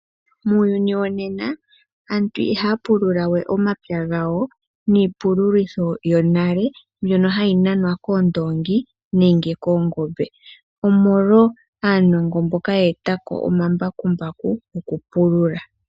Muuyuni wonena aantu ihaya pulula we omapya gawo niipululo yonale mbyono hayi nanwa koondoongi nenge koongombe. Omolwa aanongo mboka ye etako omambakumbaku goku pulula.